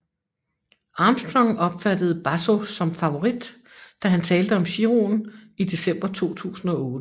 Armstrong opfattede Basso som favorit da han talte om Giroen i december 2008